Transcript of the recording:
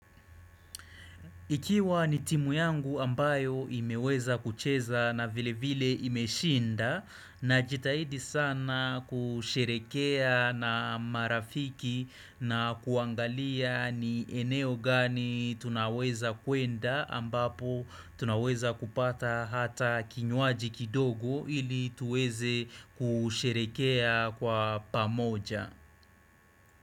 Ikiwa ni timu yangu ambayo imeweza kucheza na vile vile imeshinda na jitahidi sana kusherekea na marafiki na kuangalia ni eneo gani tunaweza kuenda ambapo tunaweza kupata hata kinywaji kidogo ili tuweze kusherekea kwa pamoja.